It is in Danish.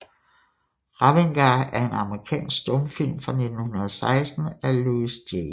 Ravengar er en amerikansk stumfilm fra 1916 af Louis J